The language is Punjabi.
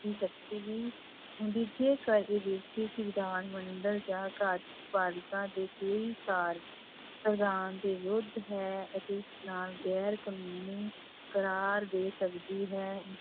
ਦੀ ਸ਼ਕਤੀ ਵੀ ਵਿਧਾਨ ਮੰਡਲ ਜਾਂ ਕਾਰਜਪਾਲਿਕਾ ਦੇ ਕਈ ਕਾਰਜ ਸਵਿਧਾਨ ਦੇ ਵਿਰੁੱਧ ਹੈ ਅਤੇ ਉਸ ਨਾਲ ਗੈਰ ਕਾਨੂੰਨੀ ਕਰਾਰ ਦੇ ਸਕਦੀ ਹੈ।